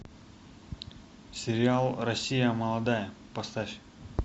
сериал россия молодая поставь